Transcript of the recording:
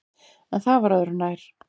En það var öðru nær.